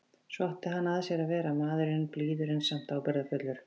Svona átti hann að sér að vera, maðurinn, blíður en samt ábyrgðarfullur.